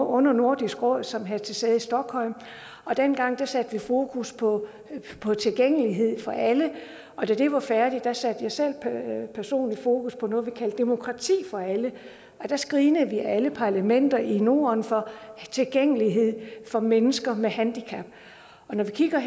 under nordisk råd som havde sæde i stockholm dengang satte vi fokus på tilgængelighed for alle og da det var færdigt satte jeg selv personligt fokus på noget vi kaldte demokrati for alle der screenede vi alle parlamenter i norden for tilgængelighed for mennesker med handicap og når vi kigger